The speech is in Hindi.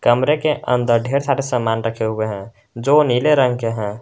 कमरे के अंदर ढेर सारे सामान रखे हुए हैं जो नीले रंग के हैं।